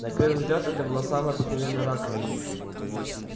на первый взгляд это была самая обыкновенная раковина